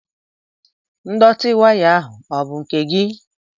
Ndọtị waya ahụ ọ bụ nke gị?